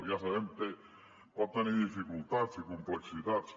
ja sabem que pot tenir dificultats i complexitats